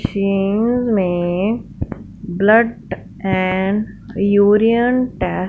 machine में blood and urine टै --